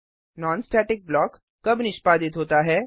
non static block कब निष्पादित होता है160